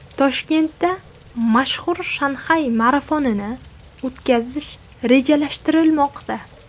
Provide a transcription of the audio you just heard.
Toshkentda mashhur Shanxay marafonini o‘tkazish rejalashtirilmoqda.